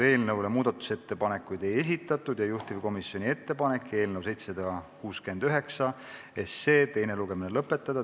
Eelnõu kohta muudatusettepanekuid ei esitatud ja juhtivkomisjoni ettepanek on eelnõu 769 teine lugemine lõpetada.